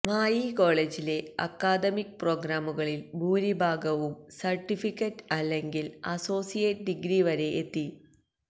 മായി കോളേജിലെ അക്കാദമിക് പ്രോഗ്രാമുകളിൽ ഭൂരിഭാഗവും സർട്ടിഫിക്കറ്റ് അല്ലെങ്കിൽ അസോസിയേറ്റ് ഡിഗ്രി വരെ എത്തി